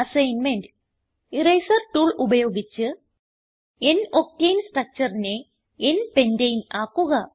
assignment eraser tool ഉപയോഗിച്ച് n octane structureനെ n പെന്റനെ ആക്കുക